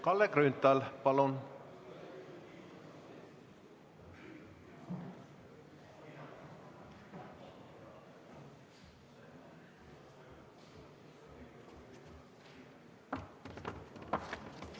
Kalle Grünthal, palun!